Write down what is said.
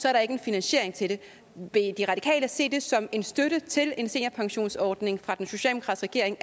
er der ikke en finansiering til det vil de radikale se det som en støtte til en seniorpensionsordning fra den socialdemokratiske